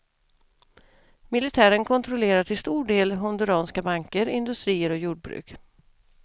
Militären kontrollerar till stor del honduranska banker, industrier och jordbruk.